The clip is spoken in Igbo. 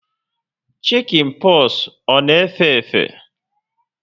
Shikin poxu ọ na efe efe?